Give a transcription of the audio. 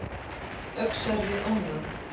Öxar við ána